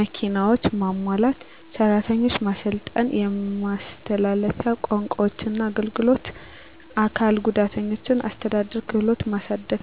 መኪናዎች) ማሟላት። ሰራተኞች ማሰልጠን የማስተላለፊያ ቋንቋዎችና አገልግሎት አካል ጉዳተኞችን አስተዳደር ክህሎትን ማሳደግ።